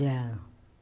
Já.